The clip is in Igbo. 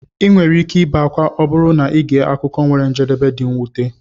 ị nwere ike ibe akwa ma ọ bụrụ na ị gee akụkọ nwere njedebe dị mwute.